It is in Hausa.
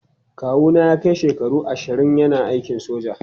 Kawu na ya kai shekaru ashirin yana aikin soja.